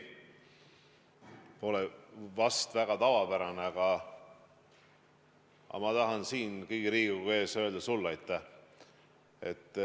see pole vist väga tavapärane, aga ma tahan siin kogu Riigikogu ees öelda sulle aitäh.